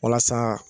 Walasa